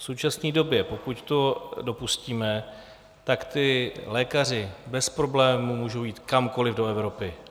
V současné době, pokud to dopustíme, tak ti lékaři bez problémů můžou jít kamkoli do Evropy.